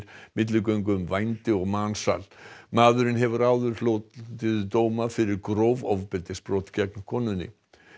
milligöngu um vændi og mansal maðurinn hefur áður hlotið dóma fyrir gróf ofbeldisbrot gegn konunni